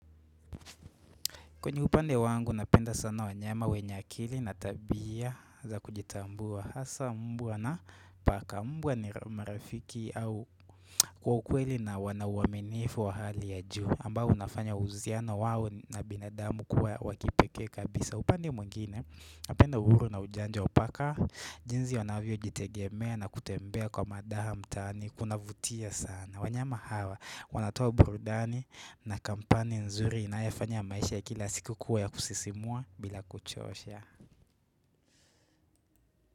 Kwenye upande wangu napenda sana wanyama wenye akili na tabia za kujitambua hasa mbwa na paka mbwa ni marafiki au kwa ukweli na wana uwaminifu wa hali ya juu ambao unafanya uziano wawo na binadamu kuwa wa kipekee kabisa. Upande mwengine, napenda uhuru na ujanja wa paka, jinzi wanavyojitegemea na kutembea kwa madaha mtani, kuna vutia sana. Wanyama hawa, wanatoa brudani na kampani nzuri inayefanya maisha ya kila siku kuwa ya kusisimua bila kuchosha.